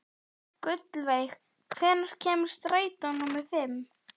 Gullveig, hvenær kemur strætó númer fimm?